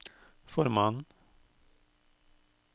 formannen